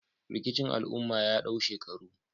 Rikicin al'umma ya dau shekaru